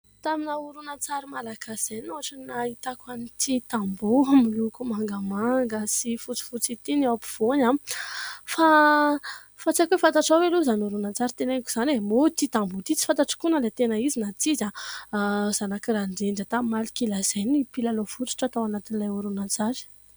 Tamina oronan-tsary Malagasy izay no ohatrany nahitako an'ity tamboho miloko mangamanga sy fotsifotsy ity ny ao am-pivoany. Fa... fa tsy haiko hoe fantatrao ve aloha izany oronan-tsary teneniko izany e ? Moa ity tamboho ity tsy fantatro koa na ilay tena izy na tsy izy. I zanak'i Randrendra tamin'ny "Malokila" izay no mpilalao fototra tao anatin'ilay oronan-tsary.